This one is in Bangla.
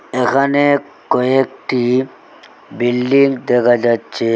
এখানে কয়েকটি বিল্ডিং দেখা যাচ্চে।